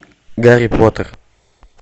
гарри поттер